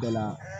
Bɛɛ la